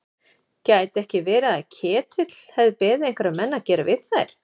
Gæti ekki verið að Ketill hefði beðið einhverja menn að gera við þær?